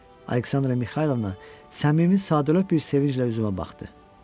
Aleksandra Mixaylovna səmimi sadəlövh bir sevinclə üzümə baxdı.